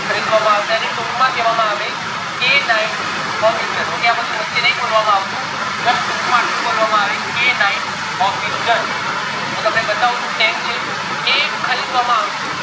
ખરીદવામાં આવશે ટુક માં કેવા આવે k nine howitzer આ બધું વચે બોલવામાં નઈઆવતું ટુક માં એટલું બોલવામાં આવે k nine howitzer હું તમને બતાવું છુ tank છે ખરીદવામાં આવશે